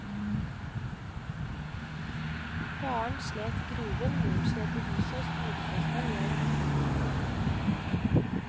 Faren slet i gruven, moren slet i huset, og storesøsteren hjalp ofte til.